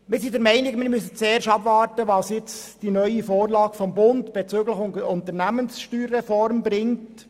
Wir sind der Meinung, wir sollten zuerst abwarten, was die neue Vorlage des Bundes bezüglich der USR bringt.